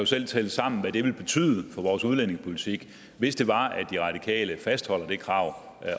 selv tælle sammen hvad det ville betyde for vores udlændingepolitik hvis det var at de radikale fastholdt det krav